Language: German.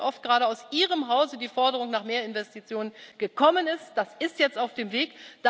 Ich weiß, wie oft gerade aus Ihrem Hause die Forderung nach mehr Investitionen gekommen ist, das ist jetzt auf dem Weg.